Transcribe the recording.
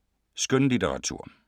Skønlitteratur